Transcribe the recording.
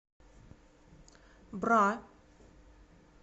бра